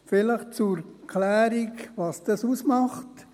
Vielleicht zur Klärung, was dies ausmacht: